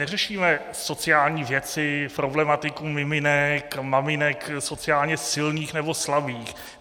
Neřešíme sociální věci, problematiku miminek, maminek sociálně silných nebo slabých.